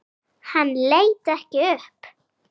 Hann leit ekki upp.